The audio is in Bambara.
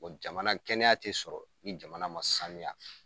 Jamana kɛnɛya tɛ sɔrɔ ni jamana ma sanuya